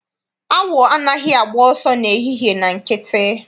Awọ anaghị agba ọsọ ehihie na nkịtị.